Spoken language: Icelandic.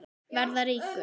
Verða ríkur.